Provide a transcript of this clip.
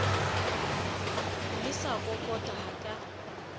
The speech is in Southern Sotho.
le sa kokota ha ka